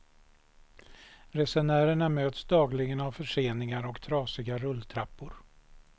Resenärerna möts dagligen av förseningar och trasiga rulltrappor.